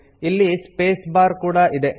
ಇಲ್ಲಿ space bar ಕೂಡಾ ಇದೆ